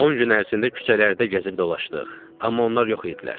On gün ərzində küçələrdə gəzib dolaşdıq, amma onlar yox idilər.